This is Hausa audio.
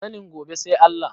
Sanin gobe sai Allah.